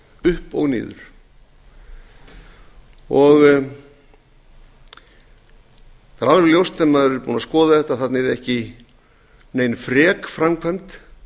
upp og niður það er alveg ljóst þegar maður er búinn að skoða þetta að þarna yrði ekki nein fer framkvæmd